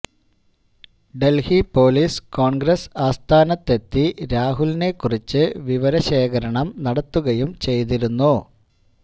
Delhi police Congress ആസ്ഥാനത്തെത്തി രാഹുലിനെ കുറിച്ച് വിവര ശേഖരണം നടത്തുകയും ചെയ്തിരുന്നു